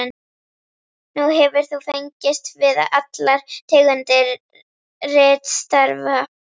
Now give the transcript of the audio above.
Nú hefur þú fengist við allar tegundir ritstarfa.